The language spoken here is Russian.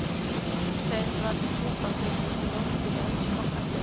часть двадцать семь последнего сезона сериальчика проклятье